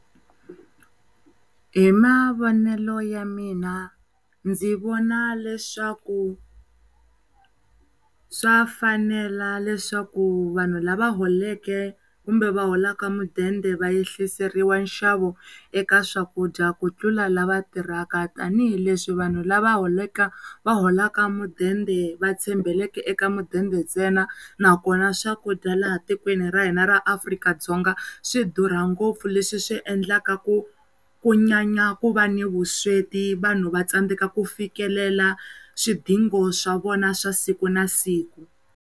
Hi mavonele ya mina ndzi vona leswaku swa fanela leswaku vanhu lava holeke kumbe va holaka mudende va yehliseriwa nxavo eka swakudya ku tlula lava tirhaka tanihileswi vanhu lava holeke va holaka mudende va tshembeleke eka mudende ntsena nakona swakudya laha tikweni ra hina ra Afrika-Dzonga swi durha ngopfu leswi endlaka ku ku nyanya ku va ni vusweti vanhu va tsandzeka ku fikelela swidingo swa vona swa siku na siku.